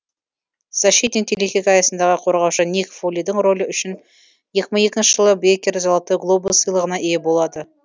защитник телехикаясындағы қорғаушы ник фолидің рөлі үшін екі мың екінші жылы бейкер золотой глобус сыйлығына ие болады